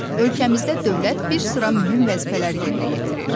Ölkəmizdə dövlət bir sıra mühüm vəzifələr yerinə yetirir.